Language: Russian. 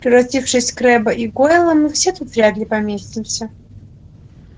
превратившись в крэбба и гойла мы все тут вряд ли поместимся